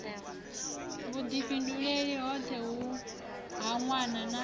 vhudifhinduleli hoṱhe ha nwana na